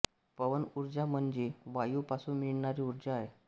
पवन ऊर्जा म्हणजे वायू पासून मिळणारी ऊर्जा आहे